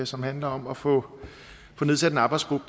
som handler om at få nedsat en arbejdsgruppe